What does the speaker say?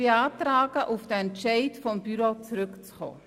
Ich beantrage, auf den Entscheid des Büros zurückzukommen.